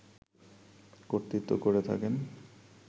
কর্তৃত্ব করে থাকেন